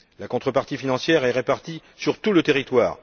La contrepartie financière est répartie sur tout le territoire